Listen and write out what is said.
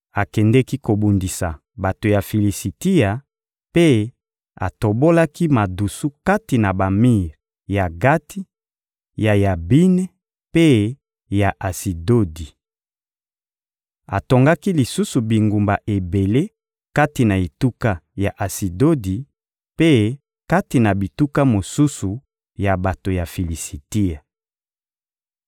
Akendeki kobundisa bato ya Filisitia mpe atobolaki madusu kati na bamir ya Gati, ya Yabine mpe ya Asidodi. Atongaki lisusu bingumba ebele kati na etuka ya Asidodi mpe kati na bituka mosusu ya bato ya Filisitia.